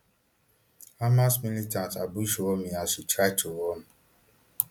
hamas militants ambush romi as she try to run